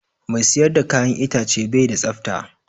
Mai siyar da ka'yan itace bai da tsafta.